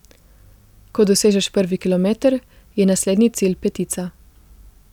Ko dosežeš prvi kilometer, je naslednji cilj petica.